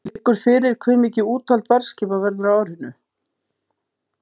Liggur fyrir hve mikið úthald varðskipa verður á árinu?